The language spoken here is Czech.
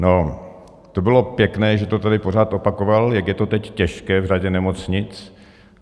No, to bylo pěkné, že to tady pořád opakoval, jak je to teď těžké v řadě nemocnic.